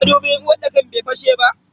Madubin uwarɗakar bai fashe ba.